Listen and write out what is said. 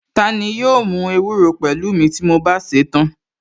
Tani yóò mú ewúro pẹ̀lú mi ti mo bá sèé tán?